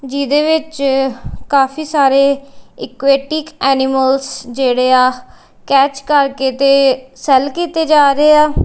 ਜਿਹਦੇ ਵਿੱਚ ਕਾਫੀ ਸਾਰੇ ਇਕਵੈਟਿਕ ਐਨੀਮਲਜ਼ ਜੇਹੜੇ ਆ ਕੈਚ ਕਰਕੇ ਤੇ ਸੈੱਲ ਕੀਤੇ ਜਾ ਰਹੇ ਆ।